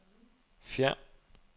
fjern